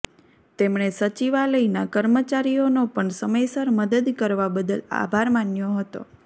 તેમણે સચિવાલયના કર્મચારીઓનો પણ સમયસર મદદ કરવા બદલ આભાર માન્યો હતો